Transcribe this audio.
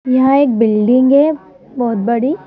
यहां एक बिल्डिंग है बहुत बड़ी।